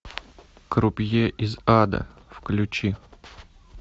крупье из ада включи